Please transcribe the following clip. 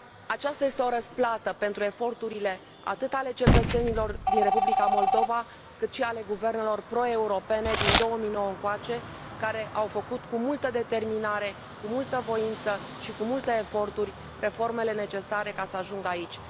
Aceasta este o răsplată pentru eforturile atât ale cetățenilor din Republica Moldova, cât și ale guvernelor pro europene din 2009 încoace, care au făcut cu multă determinare, cu multă voință și cu multe eforturi reformele necesare ca să ajungă aici.